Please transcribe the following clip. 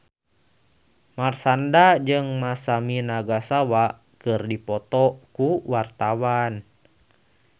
Marshanda jeung Masami Nagasawa keur dipoto ku wartawan